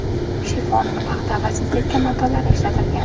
Shifon, paxta va sintetika matolari ishlatilgan.